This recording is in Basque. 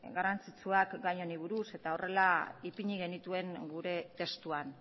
garrantzitsuak gai honi buruz eta horrela ipini genituen gure testuan